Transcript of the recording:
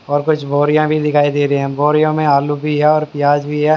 और कुछ बोरिया भी दिखाई दे रही है बोरियों में आलू भी है और प्याज भी है।